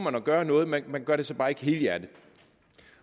at gøre noget man man gør det så bare ikke helhjertet